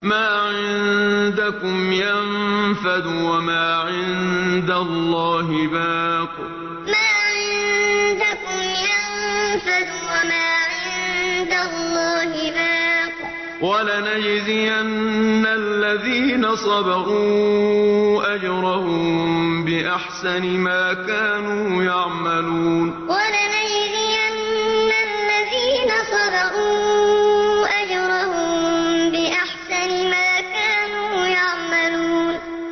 مَا عِندَكُمْ يَنفَدُ ۖ وَمَا عِندَ اللَّهِ بَاقٍ ۗ وَلَنَجْزِيَنَّ الَّذِينَ صَبَرُوا أَجْرَهُم بِأَحْسَنِ مَا كَانُوا يَعْمَلُونَ مَا عِندَكُمْ يَنفَدُ ۖ وَمَا عِندَ اللَّهِ بَاقٍ ۗ وَلَنَجْزِيَنَّ الَّذِينَ صَبَرُوا أَجْرَهُم بِأَحْسَنِ مَا كَانُوا يَعْمَلُونَ